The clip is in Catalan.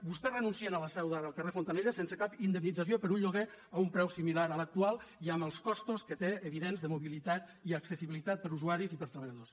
vostès renuncien a la seu d’ara al carrer fontanella sense cap indemnització per un lloguer a un preu similar a l’actual i amb els costos que té evidents de mobilitat i accessibilitat per a usuaris i per a treballadors